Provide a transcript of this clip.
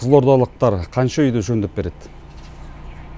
қызылордалықтар қанша үйді жөндеп береді